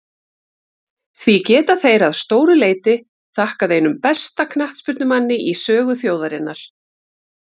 Því geta þeir að stóru leyti þakkað einum besta knattspyrnumanni í sögu þjóðarinnar.